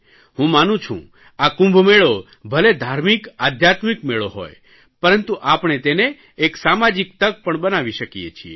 હું માનું છું આ કુંભમેળો ભલે ધાર્મિકઆધ્યાત્મિક મેળો હોય પરંતુ આપણે તેને એક સામાજિક તક પણ બનાવી શકીએ છીએ